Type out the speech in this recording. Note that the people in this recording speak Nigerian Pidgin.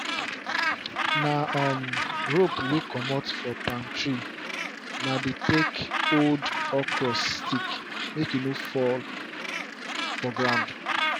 na um rope wey comot for palm tree na dey take hold okra stick may e for no fall for ground